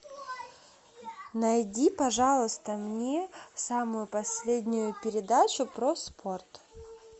найди пожалуйста мне самую последнюю передачу про спорт